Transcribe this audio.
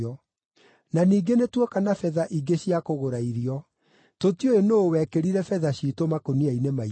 Na ningĩ nĩtuoka na betha ingĩ cia kũgũra irio. Tũtiũĩ nũũ wekĩrire betha ciitũ makũnia-inĩ maitũ.”